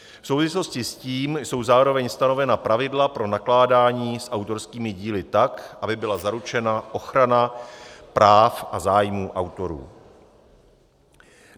V souvislosti s tím jsou zároveň stanovena pravidla pro nakládání s autorskými díly tak, aby byla zaručena ochrana práv a zájmů autorů.